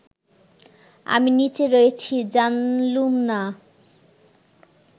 আমি নিচে রয়েছি জানলুম না